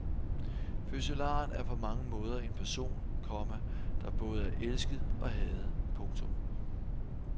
Fødselaren er på mange måder en person, komma der både er elsket og hadet. punktum